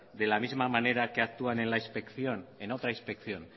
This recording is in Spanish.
de la misma manera que actúan en la inspección en otra inspección